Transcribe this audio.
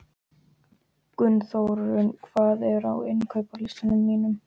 Gunnþórunn, hvað er á innkaupalistanum mínum?